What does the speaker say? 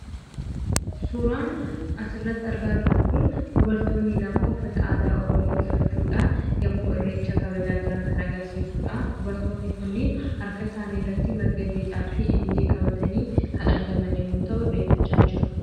Suuraan asirratti argaa jirru kun dubartoonni lama uffata aadaa oromoo uffachuudhaan, yommuu Irreecha kabajaa jiran kan agarsiisuudha. Dubartoonni kunniin harka isaanii irratti marga jiidhaafi ilillii qabatanii kan argaman yommuu ta'u, Irreeffachaa jiru.